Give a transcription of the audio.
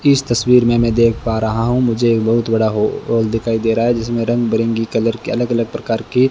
इस तस्वीर में मैं देख पा रहा हूं मुझे एक बहुत बड़ा हॉल दिखाई दे रहा है जिसमें रंग-बिरंगी कलर के अलग अलग प्रकार की --